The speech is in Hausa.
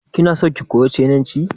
Kinason ki koyi sinanci?